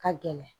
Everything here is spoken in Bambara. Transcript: Ka gɛlɛn